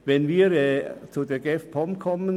Betreffend den Ausschuss GEF/POM